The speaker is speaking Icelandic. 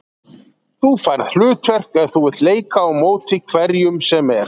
Þú færð hlutverk ef þú vilt leika á móti hverjum sem er.